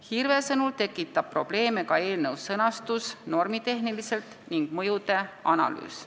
Hirve sõnul tekitab probleeme ka eelnõu sõnastus normitehniliselt ning mõjude analüüs.